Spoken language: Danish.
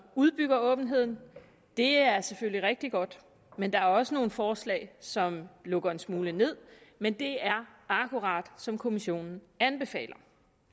udbygger åbenheden det er selvfølgelig rigtig godt men der er også nogle forslag som lukker en smule ned men det er akkurat som kommissionen anbefaler